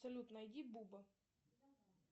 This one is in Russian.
салют найди буба